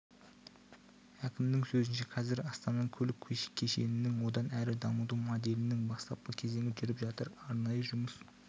әкімнің сөзінше қазір астананың көлік кешенің одан әрі дамыту моделінің бастапқы кезеңі жүріп жатыр арнайы жұмыс